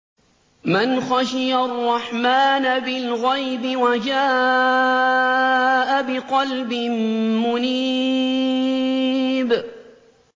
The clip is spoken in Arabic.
مَّنْ خَشِيَ الرَّحْمَٰنَ بِالْغَيْبِ وَجَاءَ بِقَلْبٍ مُّنِيبٍ